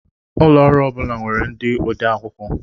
Ụlọ ọrụ ọ bula nwèrè ndị ode akwụkwọ